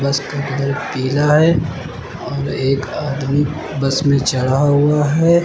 इसका कलर पीला है और एक आदमी बस में चढ़ा हुआ है।